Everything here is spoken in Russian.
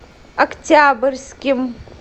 октябрьским